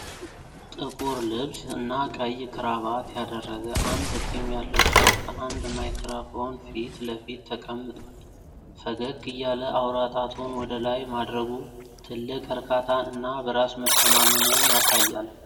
ጥቁር ልብስ እና ቀይ ክራባት ያደረገ አንድ ጢም ያለው ሰው ከአንድ ማይክራፎን ፊት ለፊት ተቀምጧል። ፈገግ እያለ አውራ ጣቱን ወደ ላይ ማድረጉ ትልቅ እርካታን እና በራስ መተማመንን ያሳያል።